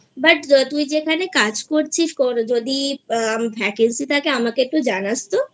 but তুই যেখানে কাজ করছিস যদি আ vacancy থাকে আমাকে একটু জানাস তো?